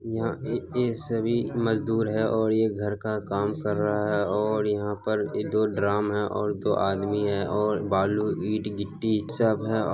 यहाँ ये ये सभी मजदूर है। ये सभी घर का काम कर रहा है और यहाँ पर ये दो ड्रम है और दो आदमी है और बालू ईंट गिट्टी सब है।